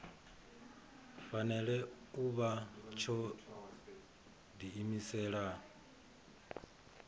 fanela u vha tsho diimisela